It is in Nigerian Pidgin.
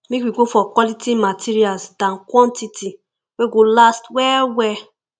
make we go for quality materials than quantity wey go last well well